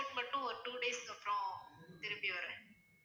report மட்டும் ஒரு two days க்கு அப்புறம் திரும்பி வர்றேன்